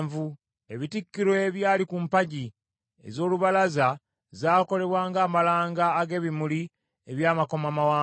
Ebitikkiro ebyali ku mpagi ez’olubalaza zakolebwa ng’amalanga ag’ebimuli eby’amakomamawanga.